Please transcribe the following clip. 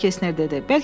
cənab Kesner dedi.